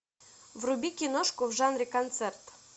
вруби киношку в жанре концерт